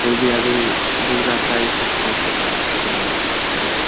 कोई भी आदमी डूब जाता है इ सब खोज देता है तुरंत में एकदम।